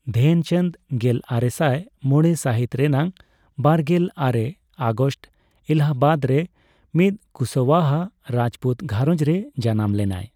ᱫᱷᱮᱱᱪᱟᱸᱫ ᱜᱮᱞᱟᱨᱮᱥᱟᱭ ᱢᱚᱲᱮ ᱥᱟᱹᱦᱤᱛ ᱨᱮᱱᱟᱜ ᱵᱟᱨᱜᱮᱞ ᱟᱨᱮ ᱟᱜᱚᱥᱴ ᱮᱞᱟᱦᱟᱵᱟᱫᱨᱮ ᱢᱤᱫ ᱠᱩᱥᱳᱣᱟᱦᱟ ᱨᱟᱡᱯᱩᱛ ᱜᱷᱟᱨᱚᱸᱡᱽ ᱨᱮ ᱡᱟᱱᱟᱢ ᱞᱮᱱᱟᱭ ᱾